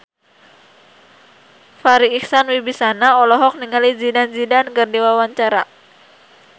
Farri Icksan Wibisana olohok ningali Zidane Zidane keur diwawancara